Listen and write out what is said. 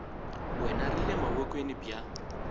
wena ri le mavokweni ya